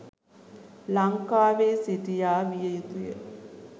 ලංකාවේ සිටියා විය යුතුය